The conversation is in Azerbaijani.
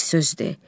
Bir söz de.